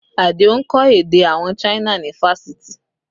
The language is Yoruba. Adio ń kọ́ èdè àwọn China ni fáṣítì